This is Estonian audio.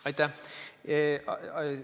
Aitäh!